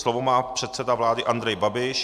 Slovo má předseda vlády Andrej Babiš.